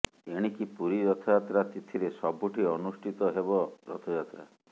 ଏଣିକି ପୁରୀ ରଥଯାତ୍ରା ତିଥିରେ ସବୁଠି ଅନୁଷ୍ଠି ହେବ ରଥଯାତ୍ରା